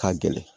Ka gɛlɛn